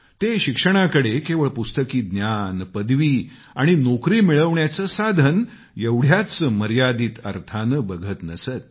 ते शिक्षणाकडे केवळ पुस्तकी ज्ञान पदवी आणि नोकरी मिळवण्याचं साधन एवढ्याच मर्यादित अर्थाने बघत नसत